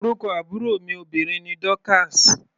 Orúkọ àbúrò mi obìnrin ni Dorcas.